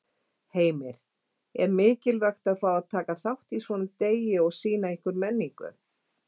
Heimir: Er mikilvægt að fá að taka þátt í svona degi og sýna ykkar menningu?